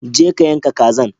Je ka yanka kazan.